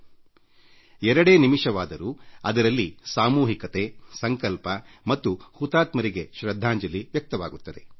ಈ ಎರಡು ನಿಮಿಷಗಳ ಮೌನ ನಮ್ಮ ಹುತಾತ್ಮರಿಗೆ ನಾವು ಸಾಮೂಹಿಕಸಂಕಲ್ಪದೊಂದಿಗೆ ನೀಡುವ ಶೃದ್ಧಾಂಜಲಿ ಆಗಬೇಕು